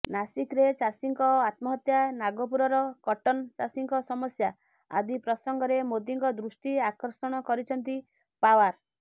ନାସିକ୍ରେ ଚାଷୀଙ୍କ ଆତ୍ମହତ୍ୟା ନାଗପୁରର କଟନ୍ ଚାଷୀଙ୍କ ସମସ୍ୟା ଆଦି ପ୍ରସଙ୍ଗରେ ମୋଦୀଙ୍କ ଦୃଷ୍ଟି ଆକର୍ଷଣ କରିଛନ୍ତି ପାୱାର